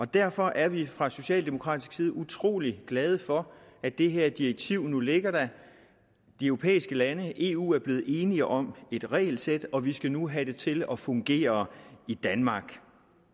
derfor er vi fra socialdemokratisk side utrolig glade for at det her direktiv nu ligger der de europæiske lande eu er blevet enige om et regelsæt og vi skal nu have det til at fungere i danmark